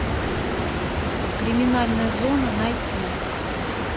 криминальная зона найти